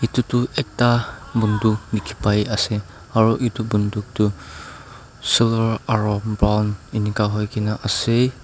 etu tu ekta bantuk dekhi bai ase aro etu bantuk tu silver aro brown enika hoikena ase.